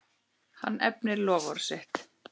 Hann efnir loforð sitt.